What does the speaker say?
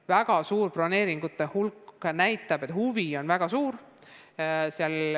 Väga suur broneeringute hulk näitab, et huvi on väga suur.